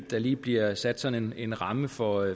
der lige bliver sat sådan en ramme for